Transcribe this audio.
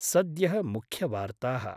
सद्यः मुख्यवार्ताः।